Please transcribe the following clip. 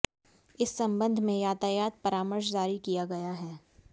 इस संबंध में यातायात परामर्श जारी किया गया है